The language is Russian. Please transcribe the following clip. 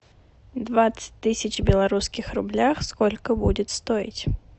двадцать тысяч в белорусских рублях сколько будет стоить